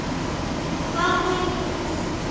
Hvað kæmi næst?